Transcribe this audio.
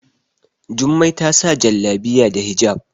Jummai ta sa Jallabiya da hijab